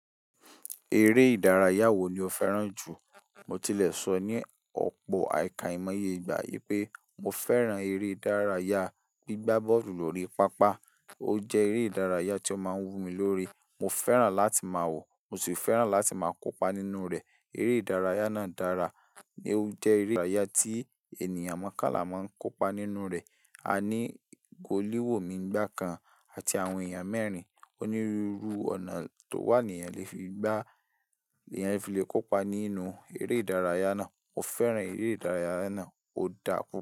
Eré ìdárayá wo ni o fẹ́ràn jù? Mo tilẹ̀ sọ ní ọ̀pọ̀ àìkàìmọye ìgbà yé pé mo fẹ́ràn eré ìdárayá gbígbá bọ́ọ̀lù lórí pápá. Ó jẹ́ eré ìdárayá tí ó máa ń wú mi lórí. Mo fẹ́ràn láti máa wọ̀, mo sì fẹ́ràn láti máa kópa nínú rẹ̀. Eré ìdárayá náà dára ní ó jẹ́ eré ìdárayá tí ènìyàn mọ́kànlá máa ń kópa nínú rẹ̀. A ní góòlí wò mí ìgbà kan àti àwọn èèyàn mẹ́rin. Onírúurú ọ̀nà tó wà ènìyàn le fi gbá, ènìyàn le fi kópa nínú eré ìdárayá náà. Mo fẹ́ràn eré ìdárayá náà ó dápú.